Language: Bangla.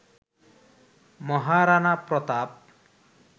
মহারানা প্রতাপ